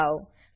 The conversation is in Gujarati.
દબાઓ